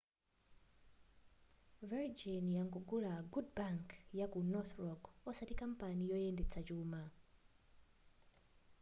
virgin yangogula good bank' yaku north rock osati kampani yoyendetsa chuma